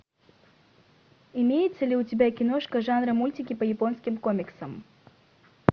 имеется ли у тебя киношка жанра мультики по японским комиксам